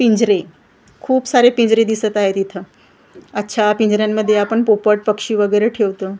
पिंजरे खूप सारे पिंजरे दिसत आहेत इथं अच्छा पिंजर्यांमध्ये आपण पोपट पक्षी वगेरे ठेवतो .